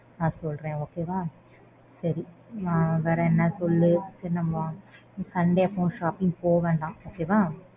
நான் சொல்றேன் okay வா. சரி வேற என்ன சொல்லு? சரி நம்மோ sunday அப்போ shopping போகவேண்டாம். okay வா.